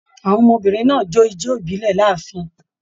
Àwọn ọmọbìnrin náà jó ijó ibilẹ l'áàfin.